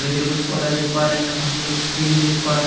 छोटे छोटे कुछ पौधा देख पा रहे हैं यहाँ पर हम लोग सीरी देख पा रहे।